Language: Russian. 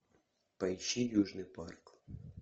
поищи южный парк